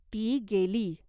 "ती गेली.